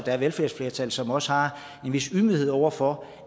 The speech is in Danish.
er et velfærdsflertal som også har en vis ydmyghed over for